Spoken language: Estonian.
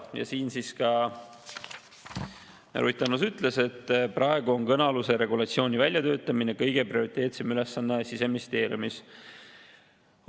Ja siin ka Ruth Annus ütles, et praegu on kõnealuse regulatsiooni väljatöötamine kõige prioriteetsem ülesanne Siseministeeriumis.